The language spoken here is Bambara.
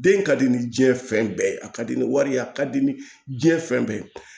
Den ka di ni diɲɛ fɛn bɛɛ ye a ka di ni wari ye a ka di ni diɲɛ fɛn bɛɛ ye